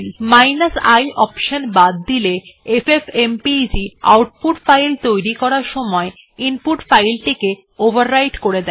যদি i option বাদ দেওয়া হয় এফএফএমপেগ আউটপুট ফাইল তৈরি করার সময় সেই ফাইলটিকে ওভাররাইট করে দেয়